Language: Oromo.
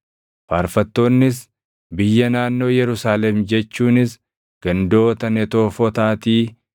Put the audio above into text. Faarfattoonnis biyya naannoo Yerusaalem jechuunis gandoota Netoofotaatii,